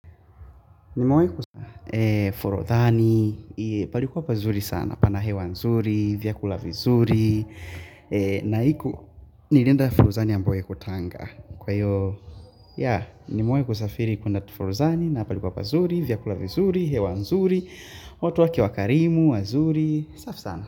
Nimewai kusafiri kwendatu furuzani na palikuwa pazuri, vyakula vizuri, hewa nzuri watu wake wakarimu, wazuri, safi sana.